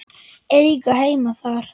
Eiga heima þar.